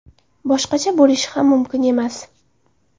Boshqacha bo‘lishi ham mumkin emas.